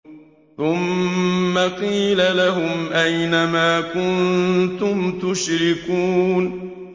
ثُمَّ قِيلَ لَهُمْ أَيْنَ مَا كُنتُمْ تُشْرِكُونَ